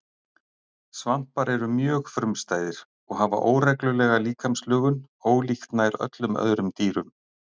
Svampar eru mjög frumstæðir og hafa óreglulega líkamslögun ólíkt nær öllum öðrum dýrum.